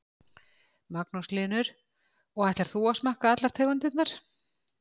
Magnús Hlynur: Og ætlar þú að smakka allar tegundirnar?